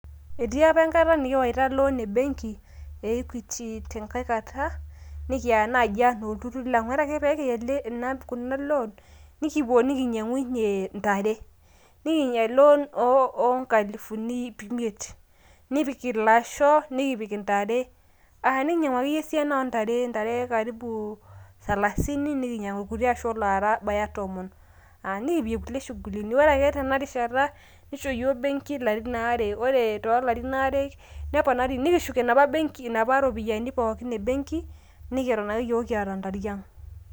Etii apa enkata nikiyawa loani embenki e equity tenkai kata nikiya naaji anaa olturur laang ,ore ake pekiya ena loan nikipuo nikinyangunye ntare, nikiya cs loan cs oonkalifuni ip imiet nikipik ilasho nikipik intare aah nikinyangu akeyie esiana oontare a ntare cs karibu cs salasini nikinyangu kutiasho nabaya tomon nikipik nkuti cs shugulini cs ore ake tena rishata nisho iyiol benki larin aare ,ore tolarin aare neponari nikishuk enaapa benki naapa ropiyani pookin e benki neton ake yiok kiata ntariang.